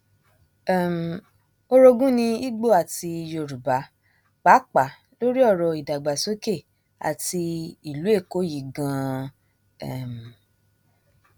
um orogun ní ibo àti yorùbá pàápàá lórí ọrọ ìdàgbàsókè àti ìlú èkó yìí ganan um